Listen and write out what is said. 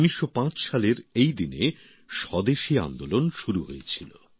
১৯০৫ সালের এই দিনে স্বদেশী আন্দোলন শুরু হয়েছিল